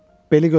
Beli götür.